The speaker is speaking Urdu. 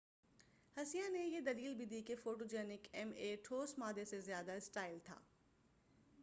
ہسیہ نے یہ دلیل بھی دی کہ فوٹوجنک ایم اے ٹھوس مادہ سے زیادہ اسٹائل تھا